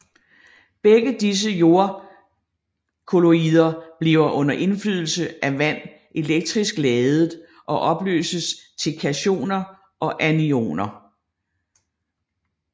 Begge disse jordkolloider bliver under indflydelse af vand elektrisk ladede og opløses til kationer og anioner